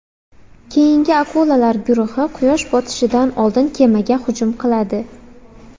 Keyingi akulalar guruhi Quyosh botishidan oldin kemaga hujum qiladi.